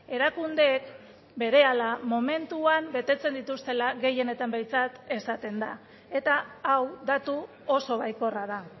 erakundeek berehala momentuan betetzen dituztela gehienetan behintzat esaten da eta hau datu oso baikorra da